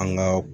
An ga